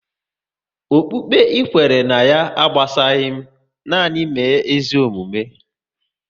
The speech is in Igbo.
Okpukpe ị kwere ná ya agbasaghi m, nanị mee ezigbo omume